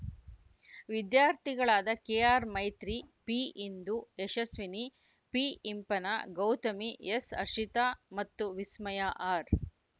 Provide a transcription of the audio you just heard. ವಿದ್ಯಾರ್ಥಿಗಳಾದ K R Maitri ಪಿಇಂದು ಯಶಸ್ವಿನಿ ಪಿಇಂಪನ ಗೌತಮಿ ಎಸ್‌ಹರ್ಷಿತಾ ಮತ್ತು ವಿಸ್ಮಯ ಆರ್‌